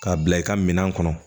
K'a bila i ka minan kɔnɔ